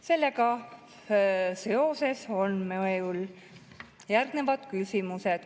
Sellega seoses on mul järgnevad küsimused.